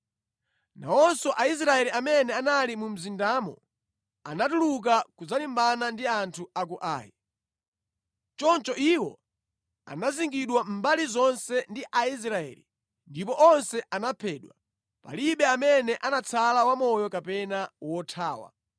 Nawonso Aisraeli amene anali mu mzindamo anatuluka kudzalimbana ndi anthu a ku Ai. Choncho iwo anazingidwa mbali zonse ndi Aisraeli ndipo onse anaphedwa. Palibe amene anatsala wamoyo kapena wothawa